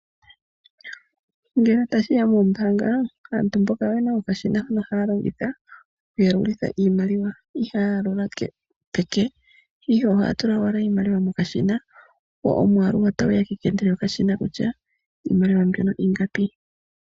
Ngele tashiya mombaanga , aantu mboka oyena okashina ho haya longitha oku yalulitha iimaliwa ihaya yalula peke ihe ohaya tula owala iimaliwa mokashina go omwaalu otagu ya kekende lyokashina kutya iimaliwa mbyono ingapi.